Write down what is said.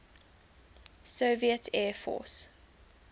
soviet air force